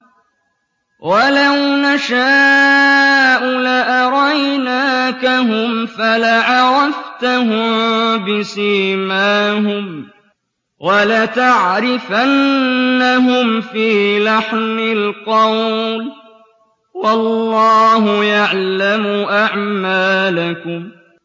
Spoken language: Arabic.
وَلَوْ نَشَاءُ لَأَرَيْنَاكَهُمْ فَلَعَرَفْتَهُم بِسِيمَاهُمْ ۚ وَلَتَعْرِفَنَّهُمْ فِي لَحْنِ الْقَوْلِ ۚ وَاللَّهُ يَعْلَمُ أَعْمَالَكُمْ